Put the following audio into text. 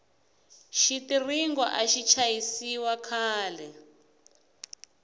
xitiringo axi chayisiwa khale